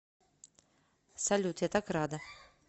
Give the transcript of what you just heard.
салют я так рада